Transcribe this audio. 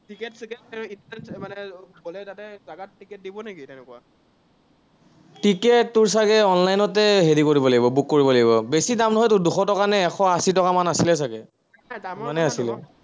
ticket তোৰ চাগে online তে হেৰি কৰিব লাগিব, book কৰিব লাগিব, বেছি দাম নহয় তোৰ, দুশ টকানে এশ-আশি টকা মান আছিলে চাগে। ইমানেই আছিলে।